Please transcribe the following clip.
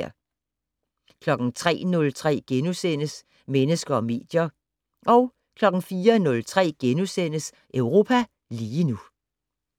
03:03: Mennesker og medier * 04:03: Europa lige nu *